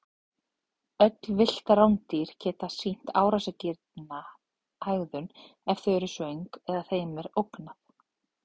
Öll villt rándýr geta sýnt árásargjarna hegðun ef þau eru svöng eða þeim er ógnað.